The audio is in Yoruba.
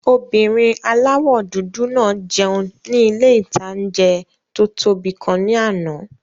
Obìnrin aláwọ̀ dúdú náà jẹun ní ilé-ìtanjẹ tó tóbi kan ní àná